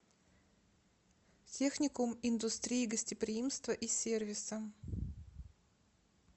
техникум индустрии гостеприимства и сервиса